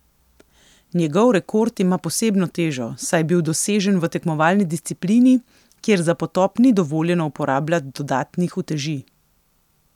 Njegov rekord ima posebno težo, saj je bil dosežen v tekmovalni disciplini, kjer za potop ni dovoljeno uporabljat dodatnih uteži.